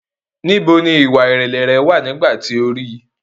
Níbo ni ìwà-ìrẹ̀lẹ̀ rẹ wà nígbà tí o rí í?